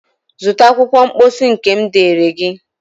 Zụta akwụkwọ mposi nke m deere gị!